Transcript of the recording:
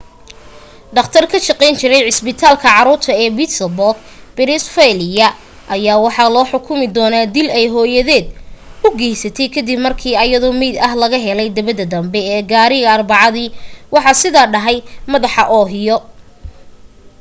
dhaqtar ka shaqeyn jiray isbitaalka caruurta ee pittsburgh pennsylvania ayaa waxa loo xukumi doona dil ay hooyaded u geysatay kadib markii ayadoo meyd ah laga helay dabada danbe ee gaarigeda arbacadi waxaa sida dhahay madaxda ohio